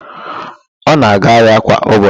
Ọ na-aga ahịa kwa ụbọchị.